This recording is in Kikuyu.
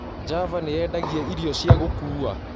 Java nĩyendagĩa ĩrĩo cĩa gũkũũa